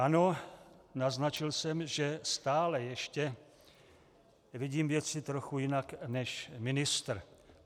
Ano, naznačil jsem, že stále ještě vidím věci trochu jinak, než ministr.